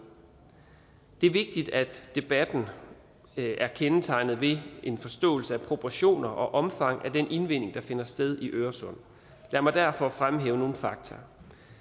det er vigtigt at debatten er kendetegnet ved en forståelse af proportioner og omfang af den indvinding der finder sted i øresund lad mig derfor fremhæve nogle fakta